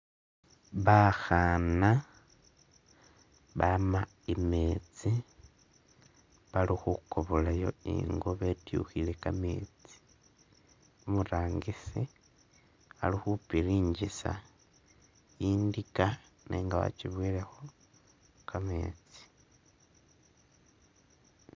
Bakhaana bama i'metsi balukhukobola yo i'ngo betyukhile kametsi, umurangisi ali khupiringisa i'ndika nenga wakibowelekho kametsi